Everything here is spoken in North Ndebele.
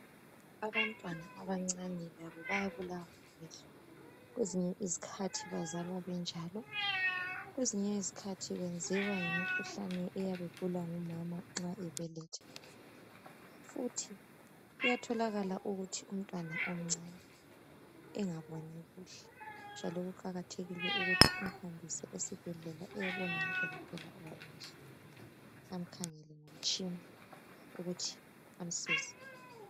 Abantwana abancane labo bayabulawa ngamehlo . Kwezinye izikhathi bazalwa benjalo . Kwezinye izikhathi benziwa yimikhuhlane eyabe igulwa ngumama nxa ebeletha. Futhi kuyatholakala ukuthi umntwana omncane engaboni kuhle njalo kuqakathekile ukuthi umhambise esibhedlela eyebonwa ngu Dokotela owamehlo amkhangele ngomtshina ukuthi amsize .